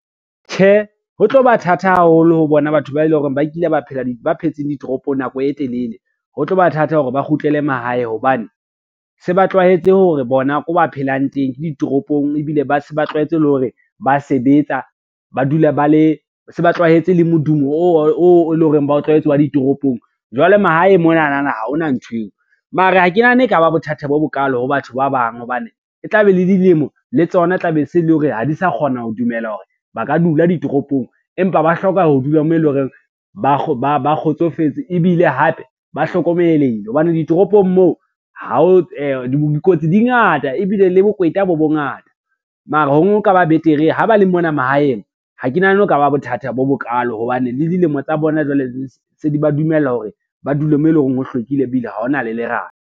Tjhe, ho tlo ba thata haholo ho bona batho ba e lo reng ba phetseng ditoropong nako e telele, ho tlo ba thata hore ba kgutlele mahae hobane, se ba tlwaetse hore bona ko ba phelang teng ke ditoropong, ebile ba se ba tlwaetse le hore ba sebeta, se ba tlwahetse le modumo oo e leng hore ba o tlwaetse wa ditoropong. Jwale mahaeng monana ha hona ntho eo, mara ha ke nahana e ka ba bothata bo bokalo ho batho ba bang hobane, e tla be le dilemo le tsona e tla be se le hore ha di sa kgona ho dumela hore ba ka dula ditoropong, empa ba hloka ho dula moo e lo reng ba kgotsofetse, ebile hape ba hlokomelehile hobane ditoropong moo, dikotsi di ngata ebile le bokweta bo bongata. Mara ho no ka ba betere ha ba le mona mahaeng, ha ke nahane ho ka ba bothata bo bokalo hobane le dilemo tsa bona jwale di se di ba dumella hore ba dule mo e lo reng ho hlwekile, ebile ha hona le lerata.